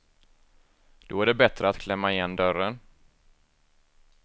Då är det bättre att klämma igen dörren.